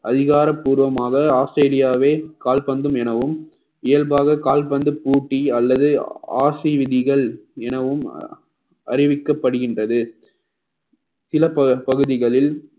அதிகாரப்பூர்வமாக ஆஸ்திரேலியாவே கால்பந்தும் எனவும் இயல்பாக கால்பந்து போட்டி அல்லது RC விதிகள் எனவும் அறிவிக்கப்படுகின்றது சில பல பகுதிகளில்